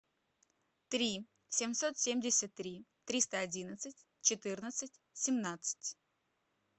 три семьсот семьдесят три триста одиннадцать четырнадцать семнадцать